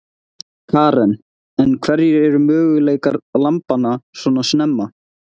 Karen: En hverjir eru möguleikar lambanna svona snemma?